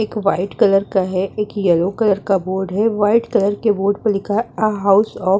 एक white colour का है। एक येलो कलर का बोर्ड है। व्हाइट कलर के बोर्ड पर लिखा है आ हाउस ऑफ़ --